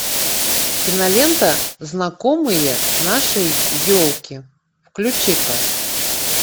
кинолента знакомые нашей елки включи ка